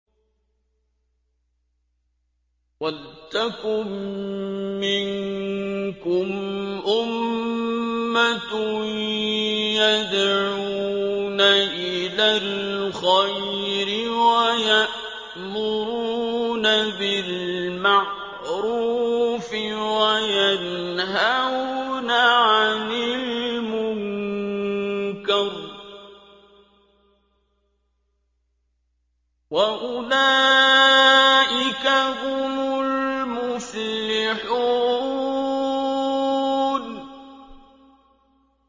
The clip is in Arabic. وَلْتَكُن مِّنكُمْ أُمَّةٌ يَدْعُونَ إِلَى الْخَيْرِ وَيَأْمُرُونَ بِالْمَعْرُوفِ وَيَنْهَوْنَ عَنِ الْمُنكَرِ ۚ وَأُولَٰئِكَ هُمُ الْمُفْلِحُونَ